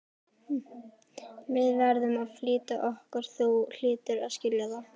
Við verðum að flýta okkur, þú hlýtur að skilja það.